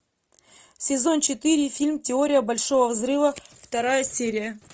сезон четыре фильм теория большого взрыва вторая серия